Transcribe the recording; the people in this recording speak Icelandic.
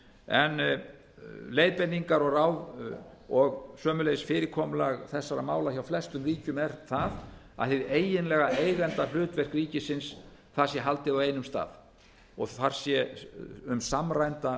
en leiðbeiningar og ráð og sömuleiðis fyrirkomulag þessara mála hjá flestum ríkjum er það að hið eiginlega eigendahlutverk ríkisins sé haldið á einum stað og þar se um samræmda